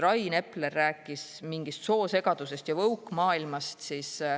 Rain Epler rääkis mingist soosegadusest ja woke-maailmast.